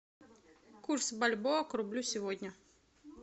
курс бальбоа к рублю сегодня